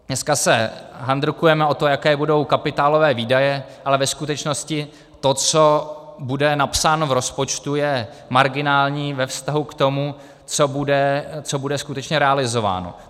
Dneska se handrkujeme o to, jaké budou kapitálové výdaje, ale ve skutečnosti to, co bude napsáno v rozpočtu, je marginální ve vztahu k tomu, co bude skutečně realizováno.